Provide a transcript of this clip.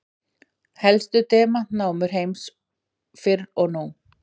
Helstu demantanámur heims fyrr og nú.